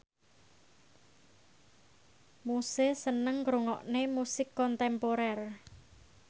Muse seneng ngrungokne musik kontemporer